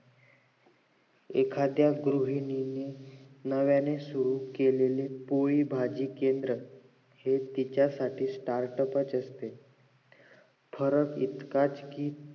एखाद्दा गृहिणीने नव्याने सुरु केलेला पोळी भाजी केंद्र हे तिच्यासाठी startup च असतंय फरक इतकाच कि